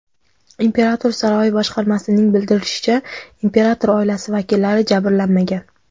Imperator saroyi boshqarmasining bildirishicha, imperator oilasi vakillari jabrlanmagan.